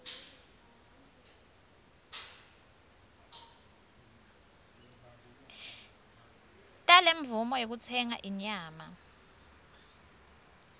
talemvumo yekutsenga inyama